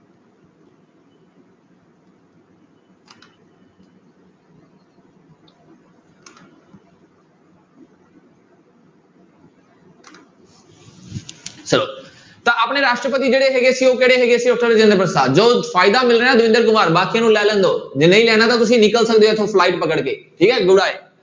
ਤਾਂ ਆਪਣੇ ਰਾਸ਼ਟਰਪਤੀ ਜਿਹੜੇ ਹੈਗੇ ਸੀ ਉਹ ਕਿਹੜੇ ਹੈਗੇ ਸੀ doctor ਰਜਿੰਦਰ ਪ੍ਰਸ਼ਾਦ, ਜੋ ਫ਼ਾਇਦਾ ਮਿਲ ਰਿਹਾ ਦਵਿੰਦਰ ਕੁਮਾਰ ਬਾਕੀਆਂ ਨੂੰ ਲੈ ਲੈਣ ਦਓ, ਜੇ ਨਹੀਂ ਲੈਣਾ ਤਾਂ ਤੁਸੀਂ ਨਿਕਲ ਸਕਦੇ ਹੋ ਇੱਥੋਂ flight ਪਕੜ ਕੇ ਠੀਕ ਹੈ